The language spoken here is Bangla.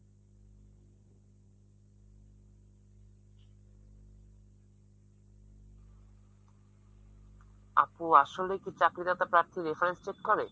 আপু আসলে কি চাকরিদাতা প্রার্থীর reference check করে?